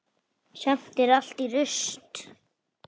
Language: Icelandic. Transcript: Samt er allt í rúst.